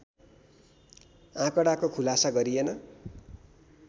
आँकडाको खुलासा गरिएन